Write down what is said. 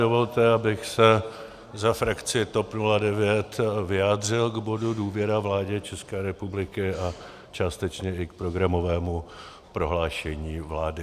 Dovolte, abych se za frakci TOP 09 vyjádřil k bodu důvěra vládě České republiky a částečně i k programovému prohlášení vlády.